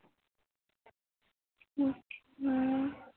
ਹਾਂ